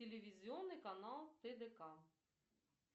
телевизионный канал тдк